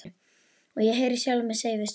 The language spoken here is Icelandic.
Og ég heyri sjálfa mig segja við stúlkuna